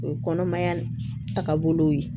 O ye kɔnɔmaya taabolo ye